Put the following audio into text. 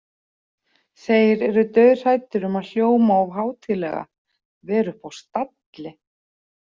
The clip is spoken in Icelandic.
Þeir eru dauðhræddir um að hljóma of hátíðlega, vera uppi á stalli.